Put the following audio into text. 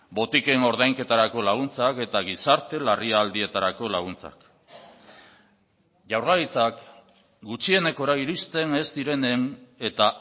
botiken ordainketarako laguntzak eta gizarte larrialdietarako laguntzak jaurlaritzak gutxienekora iristen ez direnen eta